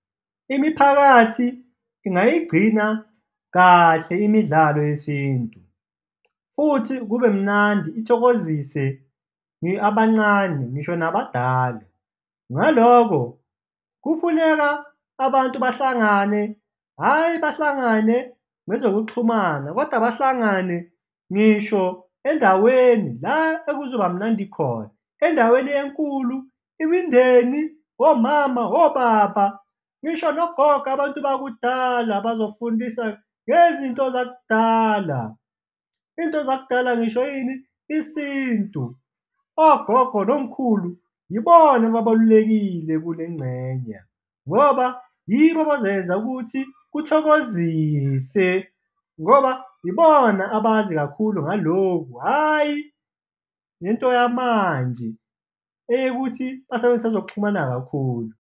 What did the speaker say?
Imiphakathi ingayigcina kahle imidlalo yesintu futhi kube mnandi, ithokozise abancane ngisho nabadala. Ngaloko, kufuneka abantu bahlangane, hhayi bahlangane ngezokuxhumana kodwa bahlangane ngisho endaweni la ekuzoba mnandi khona, endaweni enkulu, imindeni, omama, obaba ngisho nogogo, abantu bakudala bazofundisa ngezinto zakudala. Iy'nto zakudala ngisho ini? Isintu, ogogo nomkhulu yibona ababalulekile kulengxenye ngoba yibo abazoyenza ukuthi kuthokozise ngoba ibona abazi kakhulu ngaloku, hhayi le nto yamanje eyokuthi basebenzise ezokuxhumana kakhulu.